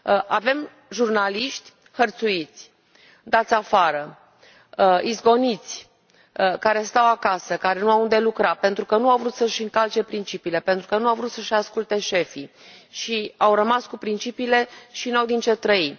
Avem jurnaliști hărțuiți, dați afară, izgoniți, care stau acasă, care nu au unde să lucreze, pentru că nu au vrut să și încalce principiile, pentru că nu au vrut să și asculte șefii, și au rămas cu principiile și nu au din ce trăi.